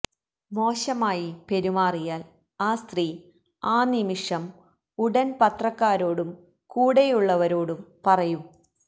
മോശമായി പെരുമാറിയാൽ ആ സ്ത്രീ ആ നിമിഷം ഉടൻ പത്രക്കാരോടും കൂടെയുള്ളവരോടും പറയും